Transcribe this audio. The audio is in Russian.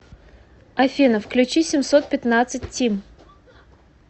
афина включи семьсот пятнадцать тим